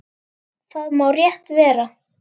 Það má rétt vera.